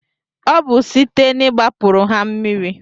Obu sitee n'igbapuru ha mmiri